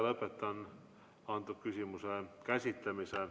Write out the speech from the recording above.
Lõpetan selle küsimuse käsitlemise.